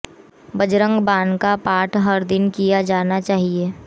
बजरंग बाण का पाठ हर दिन किया जाना चाहिए